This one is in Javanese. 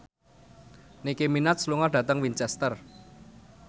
Nicky Minaj lunga dhateng Winchester